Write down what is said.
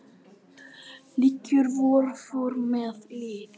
liggur vor för með lið